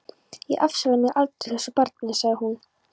Ég afsala mér aldrei þessu barni, sagði hún.